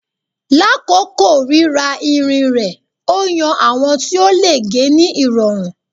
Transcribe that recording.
Lakoko rira irin rẹ o yan awọn ti o le ge ni irọrun